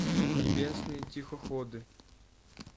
небесные тихоходы